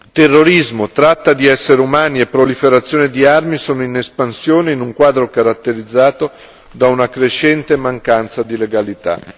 Terrorismo, tratta di esseri umani e proliferazione di armi sono in espansione in un quadro caratterizzato da una crescente mancanza di legalità.